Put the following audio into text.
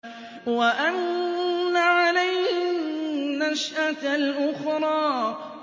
وَأَنَّ عَلَيْهِ النَّشْأَةَ الْأُخْرَىٰ